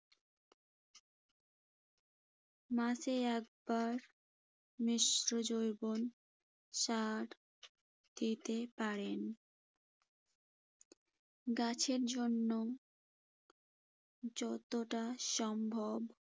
মাসে একবার মিশ্র জৈবন সরা দিতে পারেন। গাছের জন্য যতটা সম্ভব